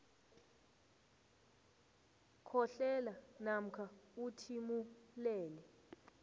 khohlela namkha uthimulele